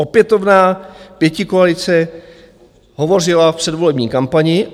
Opětovná pětikoalice hovořila v předvolební kampani.